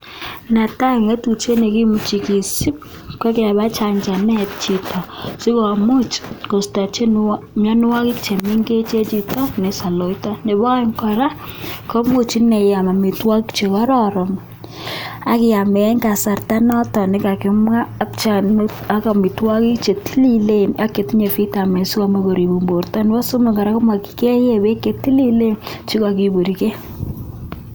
Netaai kii nemagat kisup.ko kepaa chacha et Chito Nepo aek kora komagat Iam amitwogik chetililen